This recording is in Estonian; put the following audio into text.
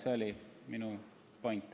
See oli minu point.